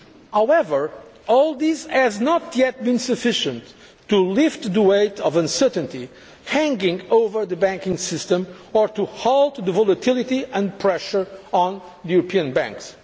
However, all this has not yet been sufficient to lift the weight of uncertainty hanging over the banking system, or to halt the volatility and pressure on European